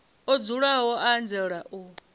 o luzaho u anzela u